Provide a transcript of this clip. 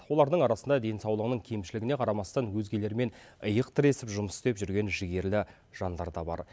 олардың арасында денсаулығының кемшілігіне қарамастан өзгелермен иық тіресіп жұмыс істеп жүрген жігерлі жандар да бар